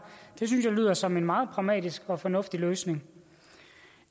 det synes jeg lyder som en meget pragmatisk og fornuftig løsning